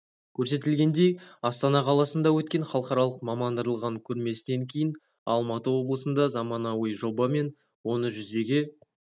көрсетілгендей астана қаласында өткен халықаралық мамандандырылған көрмесінен кейін алматы облысында заманауи жоба мен оны жүзеге